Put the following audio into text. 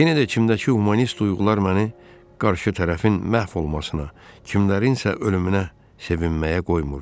Yenə də kimdə ki humanist duyğular məni qarşı tərəfin məhv olmasına, kimlərin isə ölümünə sevinməyə qoymurdu.